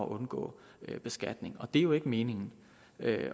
at undgå beskatning det er jo ikke meningen